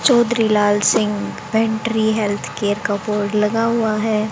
Chaudhary Lal Singh pantry health care का board लगा हुआ है।